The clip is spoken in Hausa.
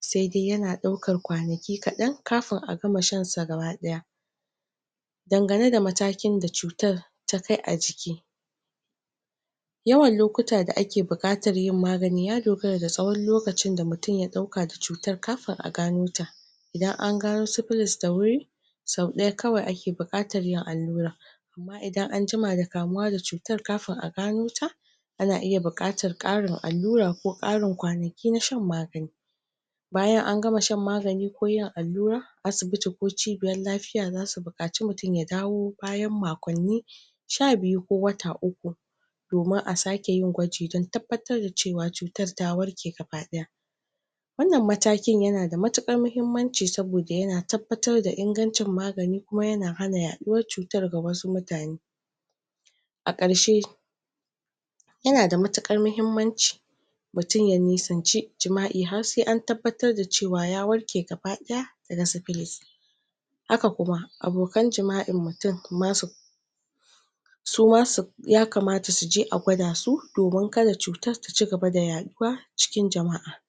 sai dai yana daukar kwanaki kadan kafin a gama shan su gabadaya dangane da matakin da cutar ta kai a jiki yawan lokuta da ake bukatar yin magani ya dogara da tsowon lokacin da mutum ya dauka da cutan kafin a gano ta idan an gano syphillis da wuri, sau daya kawai ake bukatan yin allura idan an juma da kamuwa da cutan, kafin a gano ta, ana iya bukatan karin allura ko karin kwanaki na shan magani. Bayan an gama shan magani ko yin allura, asibiti ko cibiyar lafiya za su bukaci mutum ya dawo bayan makonni sha biyu ko wata uku domin a sake yin gwaji don tabbatar da cewa cutar ta arke gabadaya Wannan matakin yana da matukar muhimmanci saboda yana tabbatar da ingancin magani kuma yana hana yaduwar cutar ga wasu mutane A karshe, yana da matukar muhimmanci mutum ya nisance jima'i har sai an tabbatar da cewa ya warke gabadaya daga syphillis haka kuma abokan jima'in mutum ma su suma su, ya kamata su je a gwada su domin kada cutar ta cigaba da yaduwa cikin jama'a